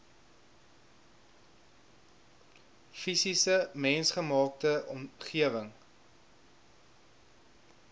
fisiese mensgemaakte omgewing